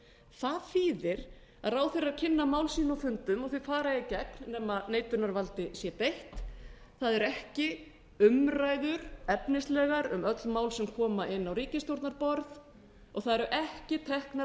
það þýðir að ráðherrar kynna mál sín á fundum og þau fara í gegn nema neitunarvaldi sé beitt það eru ekki efnislegar umræður um öll mál sem koma inn á ríkisstjórnarborð og það eru ekki teknar